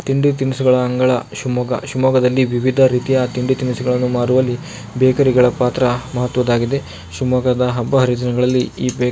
ತಿಂಡಿ ತಿನಿಸುಗಳ ಅಂಗಳ ಶಿವಮೊಗ್ಗ ಶಿವಮೊಗ್ಗದಲ್ಲಿ ವಿವಿಧ ರೀತಿಯ ತಿಂಡಿ ತಿನಿಸುಗಳನ್ನು ಮಾರುವಲ್ಲಿ ಬೇಕರಿ ಗಳ ಪಾತ್ರ ಮಹತ್ವದ್ದಾಗಿದೆ ಶಿವಮೊಗ್ಗದ ಹಬ್ಬ ಹರಿದಿನಗಳಲ್ಲಿ ಈ ಬೇ--